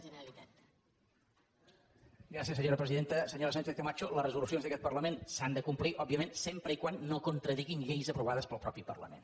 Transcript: senyora sánchez camacho les resolucions d’aquest parlament s’han de complir òbviament sempre que no contradiguin lleis aprovades pel mateix parlament